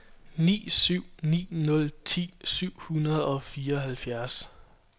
ni syv ni nul ti syv hundrede og fireoghalvfjerds